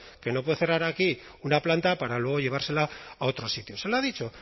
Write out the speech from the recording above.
que no puede cerrar aquí una planta para luego llevársela a otro sitio se lo ha dicho